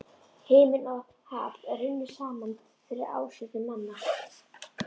Himinn og haf runnu saman fyrir ásjónum manna.